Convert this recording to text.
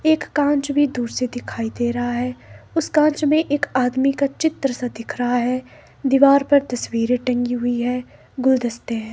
एक कांच भी दूर से दिखाई दे रहा है उस कांच में एक आदमी का चित्र सा दिख रहा है दीवार पर तस्वीरें टंगी हुई है गुलदस्ते हैं।